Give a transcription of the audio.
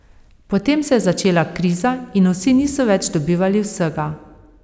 Potem se je začela kriza in vsi niso več dobivali vsega.